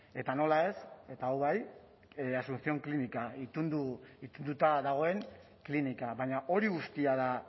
eta nola ez eta hau bai asucion klinika itunduta dagoen klinika baina hori guztia da